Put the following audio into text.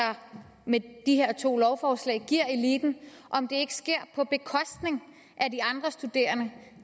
med de her to lovforslag giver eliten ikke sker på bekostning af de andre studerende